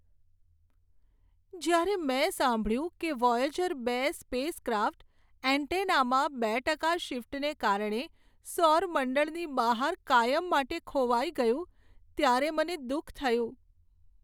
જ્યારે મેં સાંભળ્યું કે વોયેજર બે સ્પેસ ક્રાફ્ટ એન્ટેનામાં બે ટકા શિફ્ટને કારણે સૌર મંડળની બહાર કાયમ માટે ખોવાઈ ગયું, ત્યારે મને દુઃખ થયું.